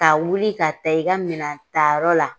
Ka wuli ka taa i ka minan ta yɔrɔ la